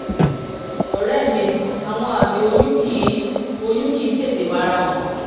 ọ̀rẹ́ mi àwọn àmì oyún kì í oyún kì í tètè fara hàn